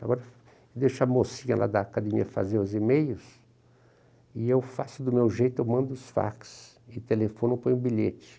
Agora deixo a mocinha lá da academia fazer os e-mails e eu faço do meu jeito, eu mando os fax e telefono, e ponho bilhete.